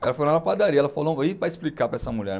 Ela foi lá na padaria, ela falou, e para explicar para essa mulher.